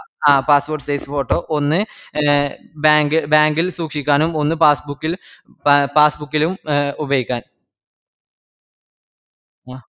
ആഹ് passport size photo ഒന്ന് bank bank ഇൽ സൂക്ഷിക്കാനും ഒന്ന് passbook ഇൽ എ passbook ലും ഉപയൊഗിക്കാനും